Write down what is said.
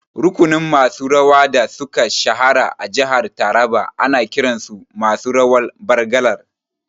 Rukunin masu rawa da suka shahara a jihar Taraba ana kiran su masu rawan Bargalar